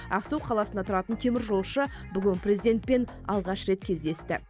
ақсу қаласында тұратын теміржолшы бүгін президентпен алғаш рет кездесті